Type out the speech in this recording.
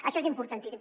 això és importantíssim